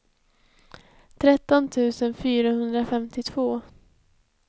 tretton tusen fyrahundrafemtiotvå